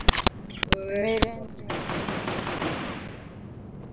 Meiri endemis erkibjálfinn sem hann var búinn að vera!